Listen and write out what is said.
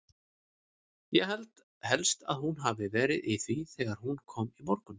Ég held helst að hún hafi verið í því þegar hún kom í morgun.